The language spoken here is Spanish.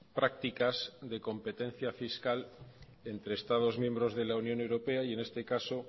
prácticas de competencia fiscal entre estados miembros de la unión europea y en este caso